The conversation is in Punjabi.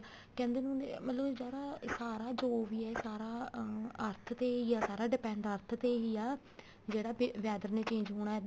ਕਹਿੰਦੇ ਨੀ ਹੁੰਦੇ ਮਤਲਬ ਜਿਹੜਾ ਸਾਰਾ ਜੋ ਵੀ ਹੈ ਇਹ ਸਾਰਾ ਅਹ earth ਤੇ ਹੀ ਆ ਸਾਰਾ depend earth ਤੇ ਹੀ ਆ ਜਿਹੜਾ weather ਨੇ change ਹੋਣਾ